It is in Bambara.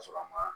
Ka sɔrɔ a ma